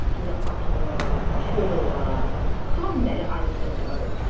Dür at ola, çöl ola, xam dəli ayğırılar ola.